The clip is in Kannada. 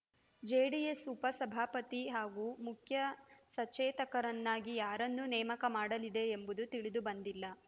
ಜೆಡಿಎಸ್‌ ಉಪಸಭಾಪತಿ ಹಾಗೂ ಮುಖ್ಯ ಸಚೇತಕರನ್ನಾಗಿ ಯಾರನ್ನು ನೇಮಕ ಮಾಡಲಿದೆ ಎಂಬುದು ತಿಳಿದುಬಂದಿಲ್ಲ